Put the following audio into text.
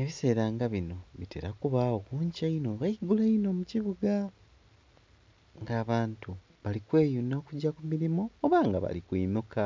Ebiseera nga bino bitera kubagho kunkyo inho oba iguulo inho mukibuga nga abantu bali kweyunha kugya kumirimo oba nga bali kwinhuka.